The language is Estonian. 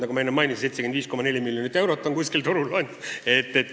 Nagu ma enne mainisin, 75,4 miljonit eurot on kuskil turul.